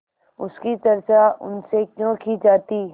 उसकी चर्चा उनसे क्यों की जाती